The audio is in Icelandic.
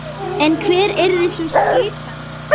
En hver yrði sú skipan?